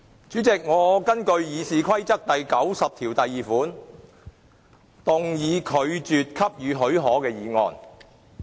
主席，我根據《議事規則》第902條，動議拒絕給予許可的議案。